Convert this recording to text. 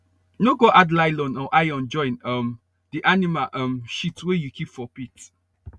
no go add nylon or iron join um the animal um shit wey you keep for pit